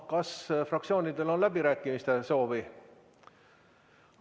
Kas fraktsioonidel on läbirääkimiste soovi?